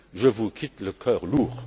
Je vous quitte le cœur lourd.